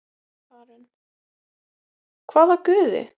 Karen: hvaða guði?